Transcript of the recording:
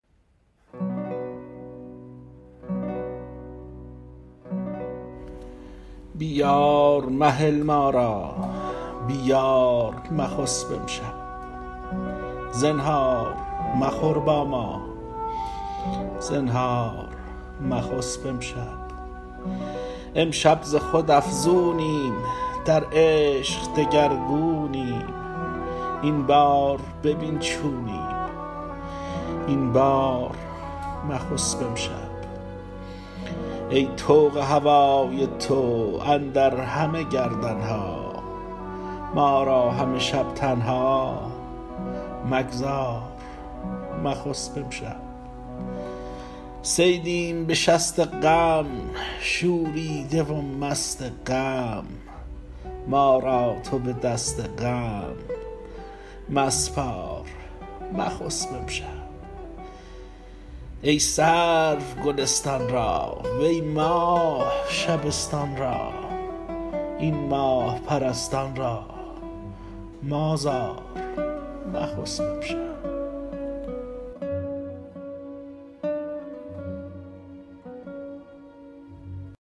بی یار مهل ما را بی یار مخسب امشب زنهار مخور با ما زنهار مخسب امشب امشب ز خود افزونیم در عشق دگرگونیم این بار ببین چونیم این بار مخسب امشب ای طوق هوای تو اندر همه گردن ها ما را همه شب تنها مگذار مخسب امشب صیدیم به شست غم شوریده و مست غم ما را تو به دست غم مسپار مخسب امشب ای سرو گلستان را وی ماه شبستان را این ماه پرستان را مازار مخسب امشب